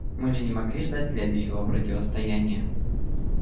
мы же не могли ждать следующего противостояния